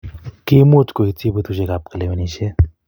ki mu kuityi betusiekab kalewenisiet